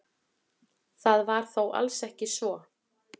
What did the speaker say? Það var þó alls ekki svo.